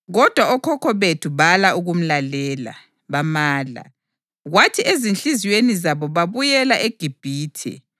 Kodwa okhokho bethu bala ukumlalela. Bamala, kwathi ezinhliziyweni zabo babuyela eGibhithe.